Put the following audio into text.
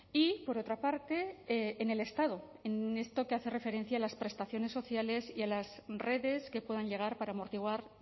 y por otra parte en el estado en esto que hace referencia a las prestaciones sociales y a las redes que puedan llegar para amortiguar